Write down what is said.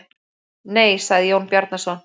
Nei, sagði Jón Bjarnason.